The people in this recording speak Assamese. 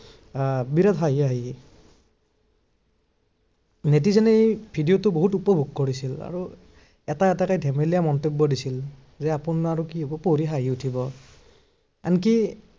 আহ বিৰাত হাঁহি হাঁহি netizen এ এই video টো বহুত উপভোগ কৰিছিল আৰু এটা এটাকে ধেমেলীয়া মন্তব্য় দিছিল যে আপোনাৰ আৰু কি হব পঢ়ি হাঁহি উঠিব। আনকি আহ